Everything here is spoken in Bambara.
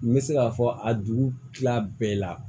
N bɛ se k'a fɔ a dugu kila bɛɛ la